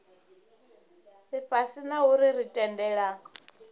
ifhasi na u ri tendela